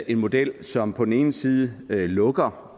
en model som på den ene side lukker